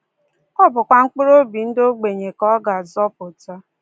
Ọ bụkwa mkpụrụobi ndị ogbenye ka ọ ga-azọpụta. ”